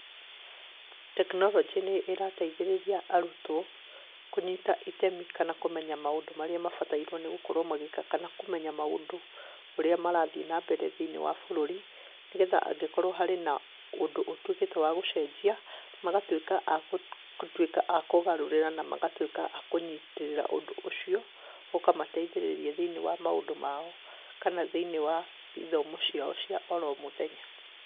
Tekinoronjĩ nĩ ĩrateithĩrĩria arutwo kũnyita itemi kana kũmenya maũndũ marĩa mabatairwo nĩgũkorwo magĩka kana kũmenya maũndũ ũrĩa marathiĩ nambere thĩ-inĩ wa bũrũri, nĩgetha angĩkorwo harĩ na ũndũ ũtwĩkĩte wa gũcenjia, magatwĩka a akutwĩka a kũgarũra na magatwĩka a kũnyitĩrĩra ũndũ ũcio, ũkamateithĩrĩria thĩ-inĩ wa maũndũ mao kana thĩ-inĩ wa ithomo ciao cia oro mũthenya.